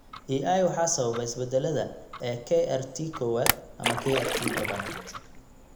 EI waxaa sababa isbeddellada (isbeddellada) ee KRT kowad ama KRT tobnaad.